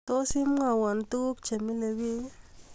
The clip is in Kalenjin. Tos, imwowo tukuik chemile biik